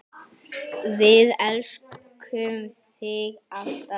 Við elskum þig alltaf.